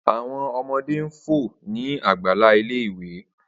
Awọn ọmọde n fo ni agbala ile-iwe